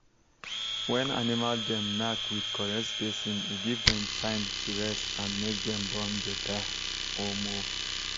when animal dem knack with correct spacing e give dem time to rest and make dem born better um